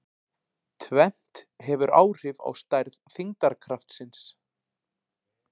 Tvennt hefur áhrif á stærð þyngdarkraftsins.